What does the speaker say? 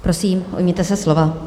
Prosím, ujměte se slova.